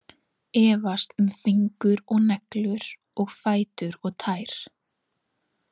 Efast um fingur og neglur og fætur og tær.